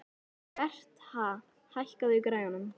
Bertha, hækkaðu í græjunum.